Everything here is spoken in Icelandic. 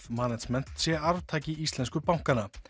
management sé arftaki íslensku bankanna